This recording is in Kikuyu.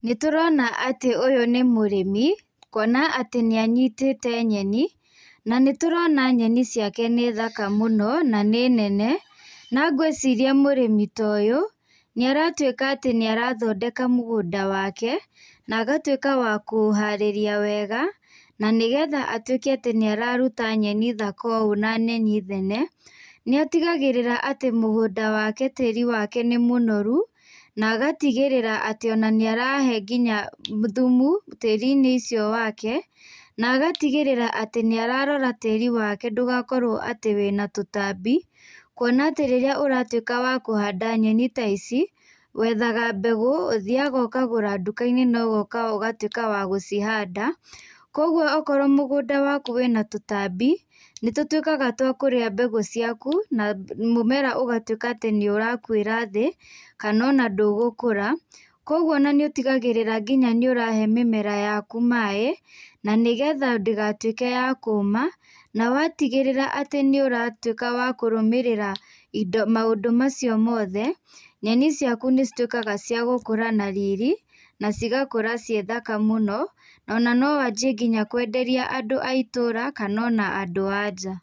Nĩ tũrona atĩ ũyũ nĩ mũrĩmi kwona atĩ nĩ anyitĩte nyeni na nĩ tũrona nyeni ciake nĩ thaka mũno na nĩ nene na ngwĩciria mũrĩmi ta ũyũ nĩ aratuĩka atĩ nĩ arathondeka mũgũnda wake na agatuĩka wa kũũharĩria wega na nĩgetha atuĩke atĩ nĩ araruta nyeni thaka ũũ na nyeni nene nĩ atigagĩrĩra atĩ mũgũnda wake, tĩri wake nĩ mũnoru na agatigĩrĩra atĩ nĩ arahe nginya thumu tĩri-inĩ ũcio wake na agatigĩrĩra atĩ nĩ ararora tĩri wake ndũgakorwo atĩ wĩna tũtambi kwona atĩ rĩrĩa ũratuĩka wa kũhanda nyeni ta ici wethaga mbegũ, ũthiaga ũkagũra duka-inĩ no ũgoka ũgatuĩka wa gũcihanda kwoguo okorwo mũgũnda waku wĩna tũtambi nĩ tũtuĩkaga twa kũrĩa mũmera waku na mũmera ũgatuĩka atĩ nĩ ũrakuĩra thĩ kana ona ndũgũkũra, kwoguo nĩ ũtigagĩrĩra nĩ ũrahe mĩmera yaku maĩ nĩgetha ndĩgatuĩke ya kũma na watuĩka atĩ ũratuĩka wa wa kũrũmĩrĩra maũndũ macio mothe nyeni ciaku nĩ cituĩkaga cia gũkũra na riri na cigakũra ciĩ thaka mũno na ona no wanjie kwenderia andũ aitũra kana ona andũ a nja.